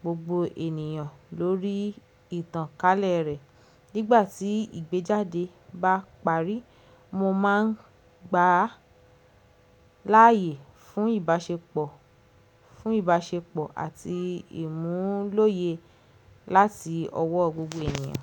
gbogbo ènìyàn lórí ìtànkálẹ̀ rẹ̀. Nígbà tí ìgbéjáde bá parí, mo máa ń gbà á láàyè fún ìbáṣepọ̀ àti ìmúlòyè láti ọwọ́ gbogbo ènìyàn.